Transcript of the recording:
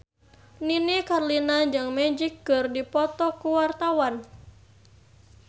Nini Carlina jeung Magic keur dipoto ku wartawan